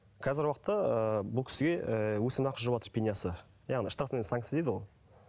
қазіргі уақытта ы бұл кісіге өсім ақысы жүріватыр пенясы яғни щтрафная санкция дейді ғой